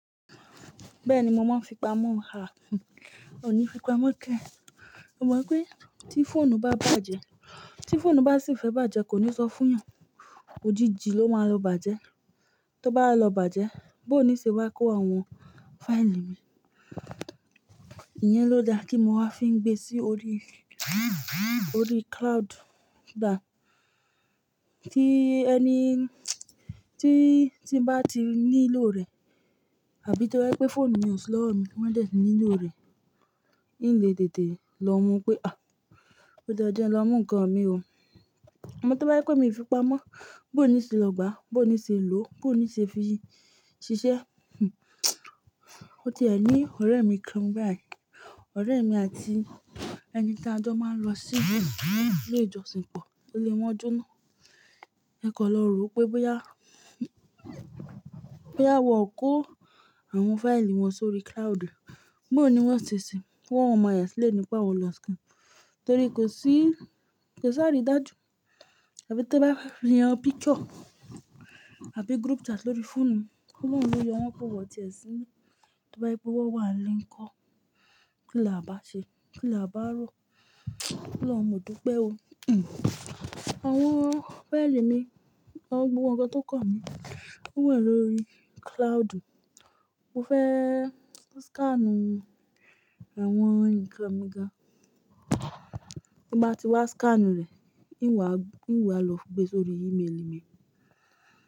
Bẹ́ẹ̀ni mo máa ń fipamọ́, ò ní fi pamọ́ kẹ̀? Mo mọ̀ ipé tí fóònù bá bàjẹ́, tí fóònù bá sì fẹ́ bàjẹ́ kò ní sọ fún iyàn, òjijì ló máa lọ bàjẹ́. Tó bá lọ bàjẹ́, bó ní ṣe wá kó àwọn fáìlì mi? Iyẹn ló dà kí mo wá fi ń gbé sí orí, orí cloud. Dà, tí ẹni tí, tí ń bá ti nílò rẹ̀, àbí tó bá yé pé fóònù mi ò ṣí lọ́wọ́ mi, mọ́ wá dé nílò rẹ̀, n lè tètè lọ mú pé, "à ó dáa jẹ́ ń lọ mú ǹkan mi o." À mọ tó bá yé pé mi fi pamọ́, bó ní ṣe lọ gbá, bó ní ṣe lò, bó ní ṣe fi ṣiṣẹ́. Ó ti ẹ̀ ní ọ̀rẹ́ mi kan báyìí, ọ̀rẹ́ mi àti ẹni tá a jọ máa ń lọ sí ilé ìjọsìn pọ̀ ílé wọn jọ́na. Ẹ kàn lọ rò ó pé, bóyá, bóyá wọ́n kò àwọn fáìlì wọn sórí cloud, bó ní wọ́n ṣe ṣìí, wọ́n ò máa explaini pé àwọn lọ skin torí kò sí, kò sí àrídájú. Àbí tó bá yan picture àbí group chat lórí fóònù, Ọlọrun ló yọ wọ́n kọ wọ́n tiẹ̀ síbí. To ba jẹ́ wípé wọ́n wa ńlé ńkọ́? Kí la à bá ṣe. Kí la à bá rọ́? Ọlọhun a mọ̀ dúpẹ́ o? Àwọn fáìlì mi, àwọn gbogbo ǹkan tó kàn mí, wọ́n wà lórí cloudu. Mo fẹ́ scan àwọn ǹkan mi gan. Tó n bá ti wá scanu rẹ̀, n wà, n wà lọ gbé sórí emaili mi.